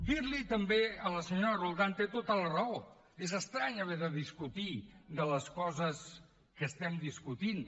dir li també a la senyora roldán que té tota la raó és estrany haver de discutir de les coses que estem discutint